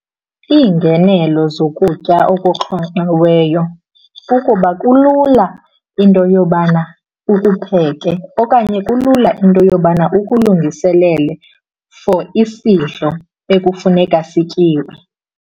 Iingenelo zokutya okuxhonxiweyo kukuba kulula into yobana ukupheke okanye kulula into yobana ukulungiselele for isidlo ekufuneka sityiwe.